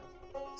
Rəana.